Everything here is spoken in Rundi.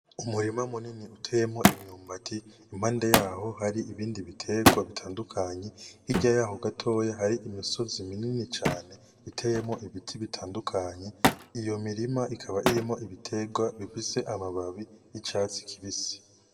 Umurima munini uteyemwo imyumbati. Impande yawo hari ibindi bitegwa bitandukanye. Hirya yawo gatoya hari imisozi minini cane iteyemwo ibiti bitandukanye. Iyo mirima ikaba irimwo ibitegwa bifise amababi y'icatsi kibisi.